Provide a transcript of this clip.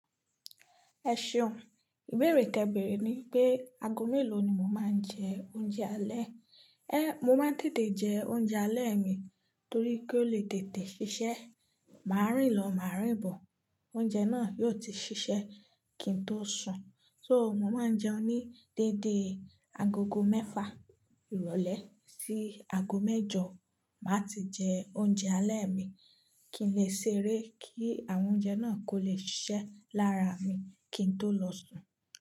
Ẹ ṣeùn, ìbéèrè tẹ ìbéèrè ni pé aago mélòó ni mo máa ń jẹ oúnjẹ alẹ́. Ehn, mo máa ń tètè jẹ oúnjẹ alẹ́ mi torí kí ó lè tètè ṣiṣẹ́. Màá rìn lọ, màá rìn bọ̀, oúnjẹ náà yóò ti ṣiṣẹ́ kí n tó sùn. So mo máa ń jẹun ní dédé agogo mẹ́fà ìrọ̀lẹ́ sí ago mẹ́jọ, màá ti jẹ oúnjẹ alẹ́ mi kí n lè ṣeré kí àwọn oúnjẹ náà kó lè ṣiṣẹ́ lára mi kí n tó lọ sùn.